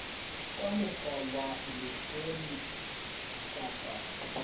ka mokgwa wa elektroniki kapa